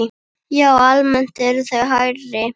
Já, almennt eru þau hærri.